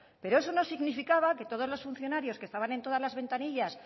pero eso no significaba que todos los funcionarios que estaban en todas las ventanillas